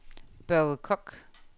Børge Kock